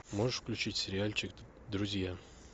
можешь включить сериальчик друзья